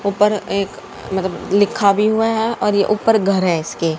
ऊपर एक अ मतब लिखा भी हुआ है और ये ऊपर घर है इसके।